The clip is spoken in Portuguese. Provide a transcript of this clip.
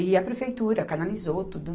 E a prefeitura canalizou tudo.